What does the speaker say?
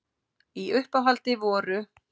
Í uppáhaldi voru